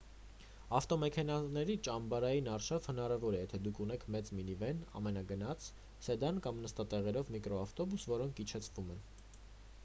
ավտոմեքենաների ճամբարային արշավ հնարավոր է եթե դուք ունեք մեծ մինիվեն ամենագնաց սեդան կամ նստատեղերով միկրոավտուբուս որոնք իջեցվում են